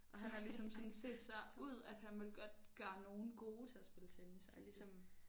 Og han har ligesom sådan set sig ud at han vil godt gøre nogen gode til at spille tennis agtigt